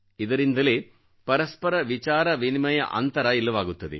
ಇದರಿಂದಲೇ ಪರಸ್ಪರ ವಿಚಾರ ವಿನಿಮಯ ಅಂತರ ಇಲ್ಲವಾಗುತ್ತದೆ